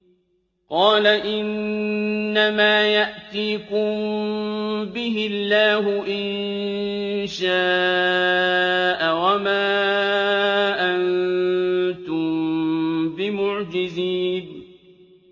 قَالَ إِنَّمَا يَأْتِيكُم بِهِ اللَّهُ إِن شَاءَ وَمَا أَنتُم بِمُعْجِزِينَ